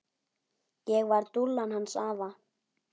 Ég var dúllan hans afa.